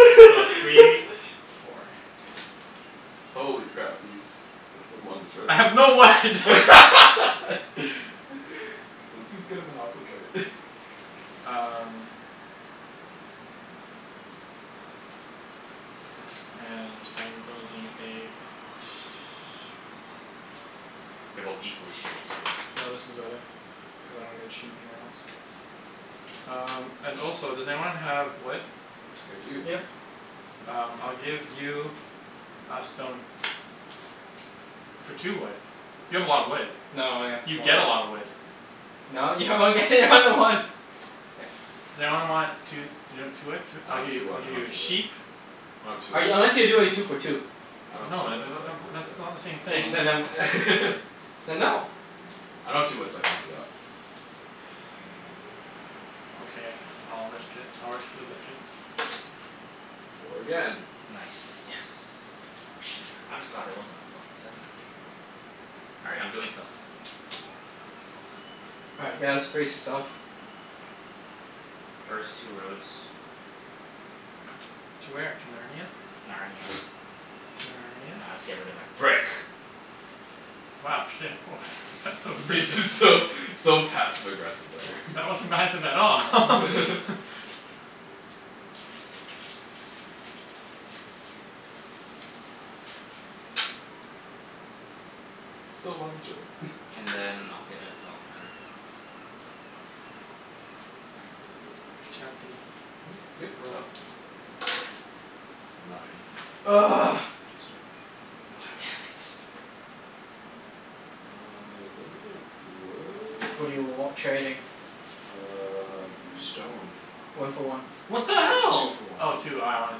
Wait, so three, four. Holy crap, Ibs. Way to build longest road. I Can have no wood. someone please get a monopoly card? Um Okay, clean this up. And I am building a sh- They're both equally shitty too. No, this one's better, cuz I don't get sheep anywhere else. Um and also does anyone have wood? I do. Yep. Um I'll give you a stone. For two wood. You have a lot of wood. No, I have You four. get a lotta wood. No, you only get one to one. K. Does anyone want two I I'll don't give have you, two I'll wood, I give you don't have a two wood. sheep. No two I, wood. unless you're doing two for two. I don't have two No, uh wood the the so I the can't w- help that's you not out. the same Then thing. y- then um Then no. I don't have two wood so I can't help you out. Okay, I'll risk it. I'll risk it for the biscuit. Four again. Yes. Nice. More sheep. I'm just glad that wasn't a fuckin' seven. All right, I'm doing stuff. All right guys, brace yourself. First two roads. To where? To Narnia? Narnia. To Narnia? Now I'll just get rid of my brick. Wow shit, woah that's so Yeah aggressive. just so so passive aggressive there. That wasn't passive at all. Still longest road And then I'll get a development card. Chancey, Mhm? Good? Go. roll. Nine. God damn it. Uh does anybody have What do you w- wood? trading? Uh stone. One for one. What the Two hell? for one. Oh two, oh I wanted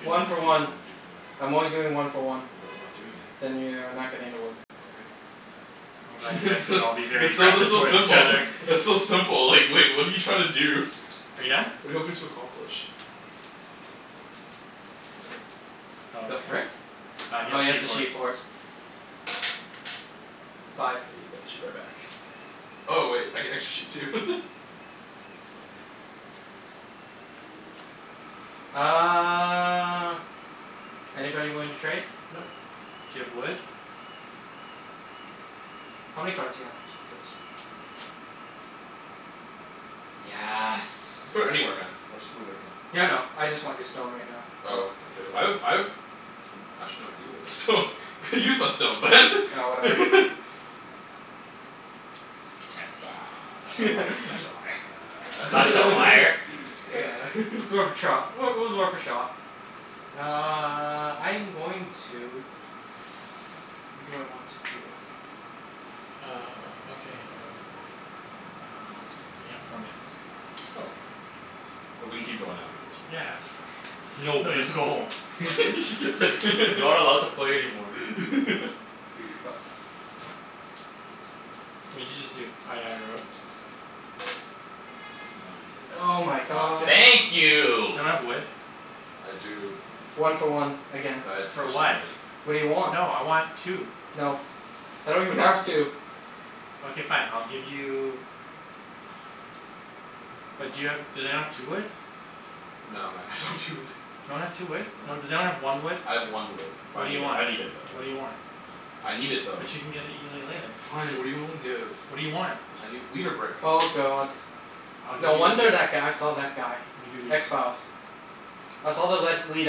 two, my One for bad. Two for one, one. two for one. I'm only doing one for one. Then I'm not doing it. Then you are not getting the wood. Okay. I'm glad you guys It's can still, all be very it's so aggressive though towards each simple. other. It's so simple like like what're you trying to do? Are you done? What're you hoping to accomplish? Oh The okay. frick? Uh he Oh has he has a sheep sheep port. port. Oh Five. got the sheep right back. Oh wait, I get extra sheep too. Uh anybody willing to trade? Nope. Do you have wood? How many cards do you have? Six. Yes. Put it anywhere man, I'll just move it again. Yeah, I know, I just want your stone right now, so Oh okay, I have I have Oh actually I gave away my stone, I used my stone Oh whatever. Chancey Such a li- such a liar. Such a liar. It's worth a trot. Well it was worth a shot. Uh I'm going to what do I want to do? Uh okay. Uh we have four minutes. Oh. But we can keep going afterwards right? Yeah no No, you have to go home. Not allowed to play anymore. Go. What did you just do? Oh you haven't rolled? Oh Nine. my God damn god. it. Thank Does you. anyone have wood? I do. One for one, again. But I For actually what? need it. What do you want? No, I want two. No, I don't even have two. Okay fine, I'll give you But do you have, does anyone have two wood? No man, I don't have two wood. No one has two wood? No No. one, does anyone have one wood? I have one wood. But What I do you need it, want? I need it though. What do you want? I need it though. But you can get it easily later. Fine, what're you willing to give? What do you want? I need wheat or brick. Oh god. I'll give No wonder you that guy saw that guy. I'll give you wheat. X Files. I saw the What? led lead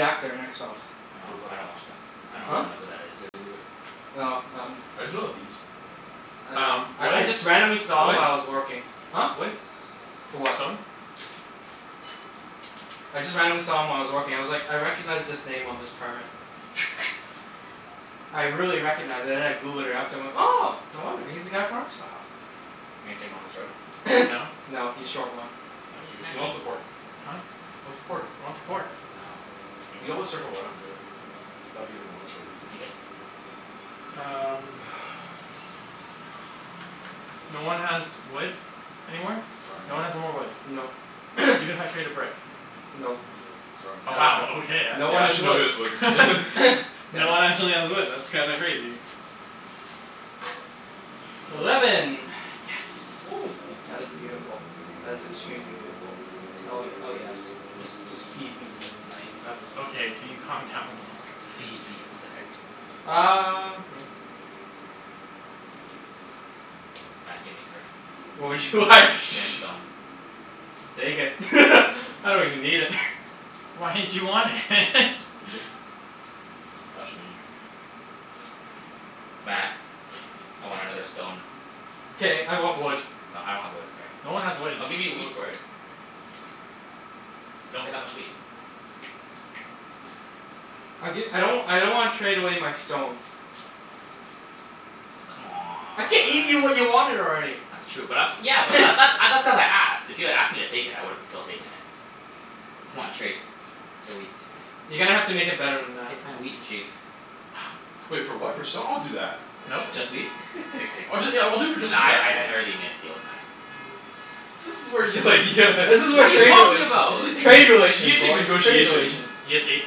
actor in X Files. What Oh about I him? don't watch that. I Me don't Huh? neither. even know who that is. Yeah, me neither. Oh um I just know the theme song. I know. Um I I wood? just randomly saw him while I was working. Huh? Wood? Wood? For what? Stone? I just randomly saw him while I was working. I was like "I recognize this name on this permit." I really recognized and then I Googled it after and I'm like "Oh no wonder. He's the guy from X Files." You gonna take longest road? No? No, he's short one. Wha- why No, you he's connect he us wants the port. He Huh? wants the port. I want the port. Oh. You always circle around later. That'd give him longest road easy. You good? Um No one has wood anymore? No. Sorry No man. one has no more wood? Nope. Even if I traded brick? Nope. Nope, sorry Oh I man. don't wow, have, okay, that's no one Yeah, has actually wood. nobody has wood Damn No one it. actually has wood, that's kinda crazy. Eleven. Eleven. Yes. Oh. That is beautiful. That is extremely beautiful. Oh ye- oh yes. Just just feed me. That's okay, can you calm down a little? "Feed me." What the heck? Um yeah. Matt, gimme a card. What would you like? Get a stone. Take it I don't even need it. Why did you want it? You good? Actually no, you're not good. Don't worry. Matt, I want another stone. K, I want wood. No I don't have wood, sorry. No one has wood. I'll give you a No wheat one has for wood. it. You don't get that much wheat. I'll gi- I don't w- I don't wanna trade away my stone. I gave you what you C'mon. wanted already. That's true but I'm, yeah but that th- uh that's cuz I asked. If you had asked me to take it I would've still taken it. C'mon trade, for wheat. You're gonna have to make it better than that. K fine, wheat and sheep. Wait for what, for stone? I'll do that. Nope. Next turn. Just wheat? I'm kidding. I'll do it yeah, I'll do it for just Nah wheat, I I actually. I already made a deal with Matt. This is where you like you'd This is What what are you trade talking relations, about? You gonna trade take you relations gonna take boys, trade negotiations. relations. He has eight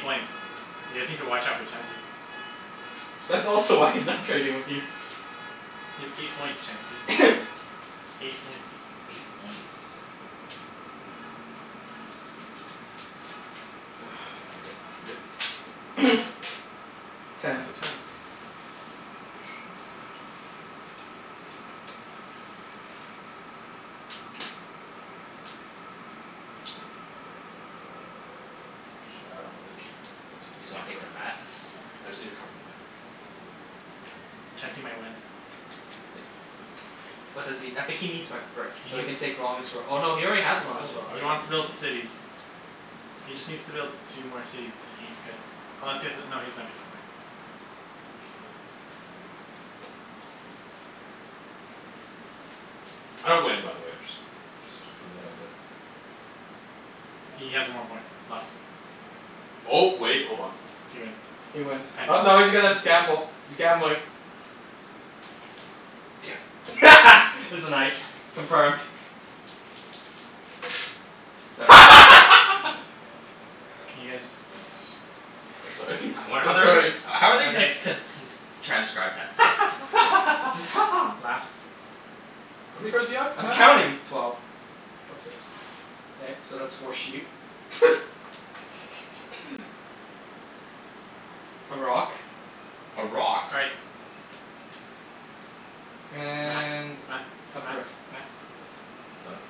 points. You guys need to watch out for Chancey. That's also why he's not trading with you. You have eight points Chancey. Eight points. Eight points. K, K, I'm good. good? Ten. It's Ten. a ten. A sheep. And then Uh ch- I don't really care where it goes. Matt Just give me a wanna take card. from Matt? I just need a card from Matt. Chancey might win. What does he, I think he needs my brick He so he needs can take longest roa- oh no, he already has I have long, longest road. I He already have wants to build longest road. cities. He just needs to build two more cities and he's good. Unless he has a, no he doesn't have a two point. I don't win by the way, I just just putting that out there. He has one more point left. Um oh wait, hold on. He wins. He wins. Oh no he's gonna gamble. He's gambling. Damn it. It's a Damn night. it. Confirmed. Seven. Can you guys Oh sorry I wonder how so- they're sorry gon- how are they gonna Okay. ts- con- t- n- s- transcribe that? Just "Ha ha" "Laughs." How many cards do you have I'm Matt? counting. Twelve. Drop six. K, so that's four sheep. A rock. A rock? All right. Matt, And Matt, a Matt, brick. Matt Done?